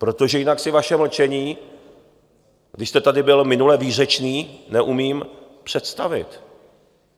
Protože jinak si vaše mlčení, když jste tady byl minule výřečný, neumím představit.